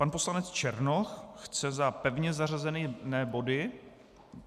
Pan poslanec Černoch chce za pevně zařazené body...